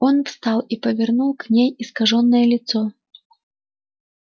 он встал и повернул к ней искажённое лицо